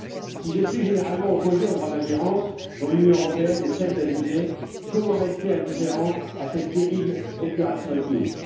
Si je suis généralement opposé au droit d'ingérence, dont l'Union européenne ne cesse d'abuser, comment rester indifférent à cette terrible épuration ethnique?